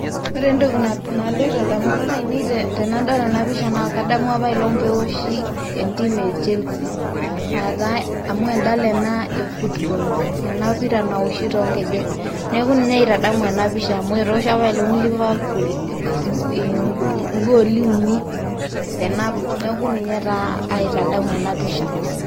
ore entoki naloito damunot aiinei tenadol ena pisha naa kadamu apailong' peeoshi e team e chelsea aa taa amu edala ena e football ena pira naoshi too nkejek. neeku ninye aitadamu ena pisha, amu etoosho apaelong' liverpool igooli uni tenabo, neeku ninye taa aitadamu ena pisha.